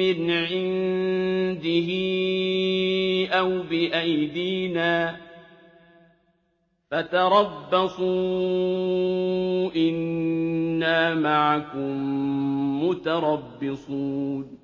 مِّنْ عِندِهِ أَوْ بِأَيْدِينَا ۖ فَتَرَبَّصُوا إِنَّا مَعَكُم مُّتَرَبِّصُونَ